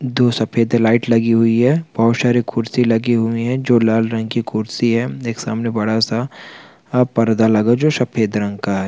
दो सफेद लाइट लगी हुई है बोहत सारा कुर्सी लगी हुई हैं जो लाल रंग की खुरसी हैं एक सामने बड़ा सा पर्दा लगा जो सफेद रंग का हैं।